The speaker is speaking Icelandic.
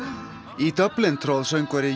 í Dublin tróð söngvari